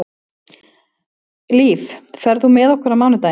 Líf, ferð þú með okkur á mánudaginn?